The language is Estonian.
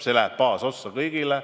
See läheb baasossa kõigile.